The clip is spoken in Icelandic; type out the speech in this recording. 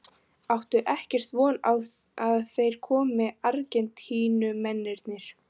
Áttu ekkert von á að þeir komi Argentínumennirnir?